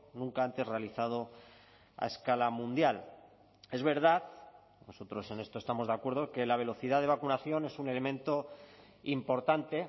nunca antes realizado a escala mundial es verdad nosotros en esto estamos de acuerdo que la velocidad de vacunación es un elemento importante